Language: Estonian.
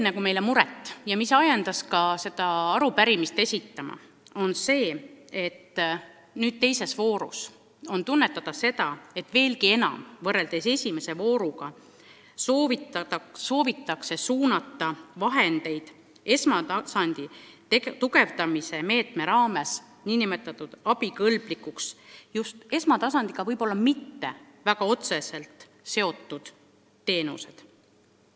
Meid ajendas seda arupärimist esitama mure – nüüd, teise vooru puhul on seda veelgi rohkem tunda kui esimeses voorus –, et esmatasandi tugevdamise meetme raames tunnistatakse nn abikõlblikuks esmatasandiga võib-olla mitte väga otseselt seotud teenused.